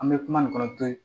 An bɛ kuma nin kɔnɔ to ye